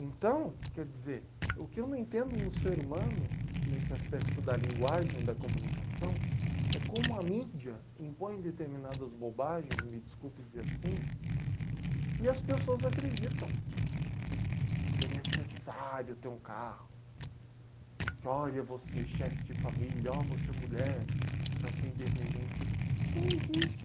Então, quer dizer, o que eu não entendo no ser humano, nesse aspecto da linguagem e da comunicação, é como a mídia impõe determinadas bobagens, me desculpe dizer assim, e as pessoas acreditam que é necessário ter um carro, que olha você chefe de família, olha você mulher, para ser independente. Quem disse